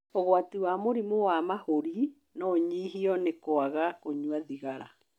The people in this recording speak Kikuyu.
ũgwati wa mũrimũ wa mahũri no ũnyihio nĩ kwaga kũnyua thigara